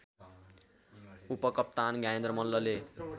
उपकप्तान ज्ञानेन्द्र मल्लले